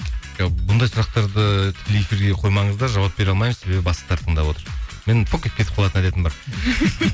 ы бұндай сұрақтарды тікелей эфирге қоймаңыздар жауап бере алмаймын себебі бастықтар тыңдап отыр мен етіп кетіп қалатын әдетім бар